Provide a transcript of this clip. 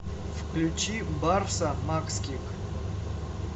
включи барса макских